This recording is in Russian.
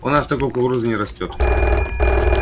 у нас такой кукурузы не растёт